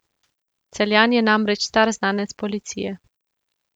Celjan je namreč star znanec policije.